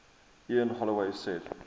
ian holloway said